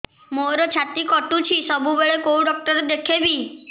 ମୋର ଛାତି କଟୁଛି ସବୁବେଳେ କୋଉ ଡକ୍ଟର ଦେଖେବି